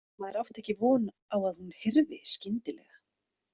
Maður átti ekki von á að hún hyrfi skyndilega.